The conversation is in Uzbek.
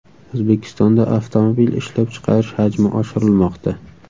O‘zbekistonda avtomobil ishlab chiqarish hajmi oshirilmoqda.